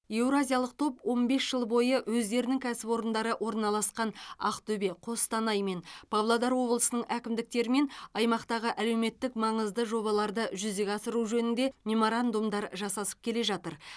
еуразиялық топ он бес жыл бойы өздерінің кәсіпорындары орналасқан ақтөбе қостанай мен павлодар облысының әкімдіктерімен аймақтағы әлеуметтік маңызды жобаларды жүзеге асыру жөнінде меморандумдар жасасып келе жатыр